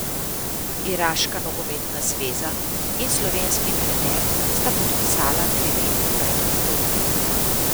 Iraška nogometna zveza in slovenski trener sta podpisala triletno predpogodbo.